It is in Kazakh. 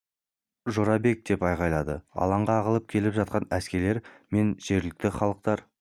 жорабек деп айқайлайды алаңға ағылып келіп жатқан әскерлер мен жергілікті халықтар